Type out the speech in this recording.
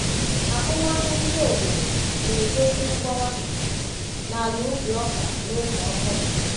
Ahụmahụ ndị obodo na-egosi mgbawa n’ala ubi ọka n’oge ọkọchị.